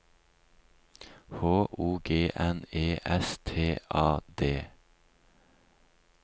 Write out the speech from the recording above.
H O G N E S T A D